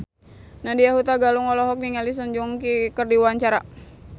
Nadya Hutagalung olohok ningali Song Joong Ki keur diwawancara